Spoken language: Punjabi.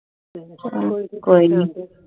ਕੋਈ ਨਈ